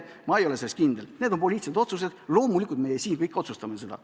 Need on poliitilised otsused, loomulikult meie siin kõik otsustame seda.